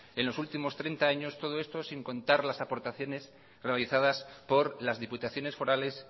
en los últimos treinta años todo esto sin contar las aportaciones realizadas por las diputaciones forales